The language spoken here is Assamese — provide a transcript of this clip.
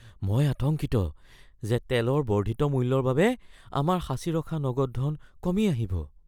মই আতংকিত যে তেলৰ বৰ্ধিত মূল্যৰ বাবে আমাৰ সাঁচি ৰখা নগদ ধন কমি আহিব।